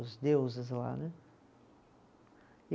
Os deuses lá, né? E